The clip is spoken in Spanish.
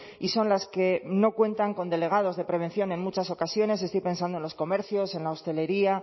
y son las que no cuentan con delegados de prevención en muchas ocasiones estoy pensando en los comercios en la hostelería